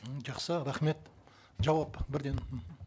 м жақсы рахмет жауап бірден